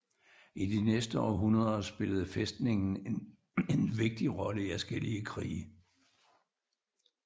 I de næste århundreder spillede fæstningen en vigtig rolle i adskillige krige